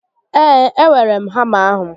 Ee, e weere m hama ahụ